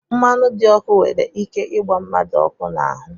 Mmanụ dị ọkụ nwere ike ịgba mmadụ ọkụ n'ahụ